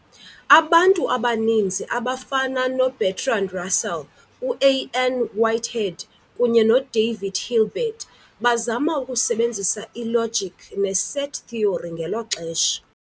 Abantu abaninzi, abafana noBertrand Russell, uA. N. Whitehead, kunye noDavid Hilbert, bazama ukusebenzisa ilogic neset theory ngelo xesha.